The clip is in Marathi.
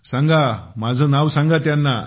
सांगा माझं नाव सांगा त्यांना